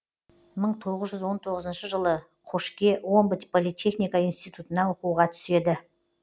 мың тоғыз жүз он тоғызыншы жылы қошке омбы политехника институтына оқуға түседі